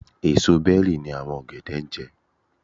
Èsò bẹ́rì ni àwọn ọ̀gẹ̀dẹ̀ jẹ́.